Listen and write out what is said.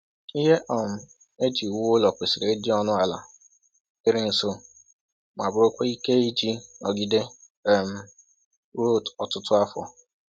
Ihe um eji wuo ụlọ kwesịrị ịdị ọnụ ala, dịịrị nso, ma bụrụkwa ike iji nọgide um ruo ọtụtụ afọ.